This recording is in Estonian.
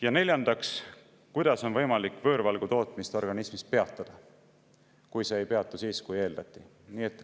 Ja neljandaks, kuidas on võimalik võõrvalgu tootmist organismis peatada, kui see ei peatu siis, kui eeldati?